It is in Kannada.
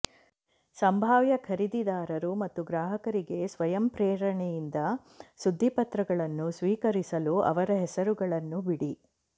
ಸಂಭಾವ್ಯ ಖರೀದಿದಾರರು ಮತ್ತು ಗ್ರಾಹಕರಿಗೆ ಸ್ವಯಂಪ್ರೇರಣೆಯಿಂದ ಸುದ್ದಿಪತ್ರಗಳನ್ನು ಸ್ವೀಕರಿಸಲು ಅವರ ಹೆಸರುಗಳನ್ನು ಬಿಡಿ